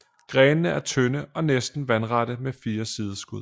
Grenene er tynde og næsten vandrette med fine sideskud